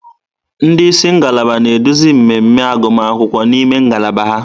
Ndị isi ngalaba na-eduzi mmemme agụmakwụkwọ n'ime ngalaba ha.